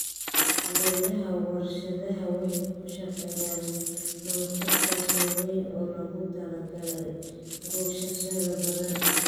Beeraha warshadaha waxay ku shaqeeyaan monocultures waaweyn oo loogu talagalay goosashada badan.